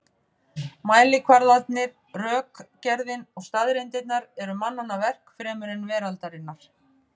Mælikvarðarnir, rökgerðin og staðreyndirnar eru mannanna verk fremur en veraldarinnar.